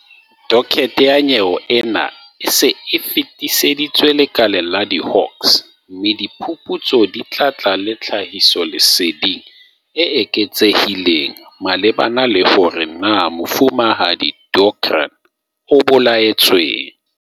Dokethe ya nyewe ena e se e fetiseditswe lekaleng la di-Hawks, mme diphuputso di tla tla le tlhahisoleseding e eketsehileng malebana le hore na Mofumahadi Deokaran o bolaetsweng.